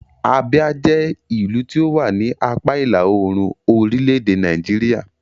Abia jẹ́ ìlú tí ó wà ní apá ìlà-oòrùn orílẹ̀-èdè Nàìjíríà.